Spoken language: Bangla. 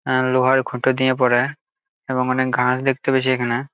আহ লোহার খোটা দিয়ে পরে এবং অনেক গাছ দেখতে পেয়েছি এখানে।